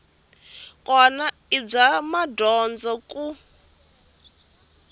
kona i bya madyondza ku